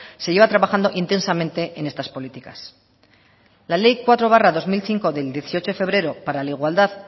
se lleva trabajando intensamente en estas políticas la ley cuatro barra dos mil cinco del dieciocho de febrero para la igualdad